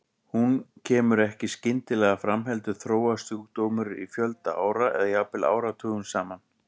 Hún kemur ekki skyndilega fram heldur þróast sjúkdómurinn í fjölda ára eða jafnvel áratugum saman.